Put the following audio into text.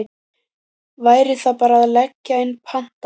Væri það bara að leggja inn pantanir?